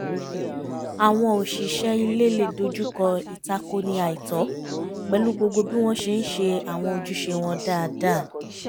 àwọn òṣìṣẹ́ ilé le dojúkọ ìtakoni àìtọ́ pẹ̀lú gbogbo bí wọ́n ṣe ń ṣe àwọn ojúṣe wọn dáadáa